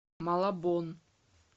малабон